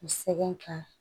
U sɛgɛn ka